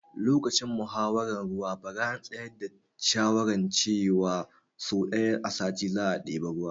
Lokacin muhawaran ruwa bara an tsayar da shawaran ce wa so ɗaya a sati za a ɗebi ruwa